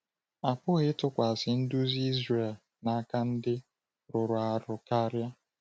A pụghị ịtụkwasị nduzi Izrel n’aka ndị rụrụ arụ karịa.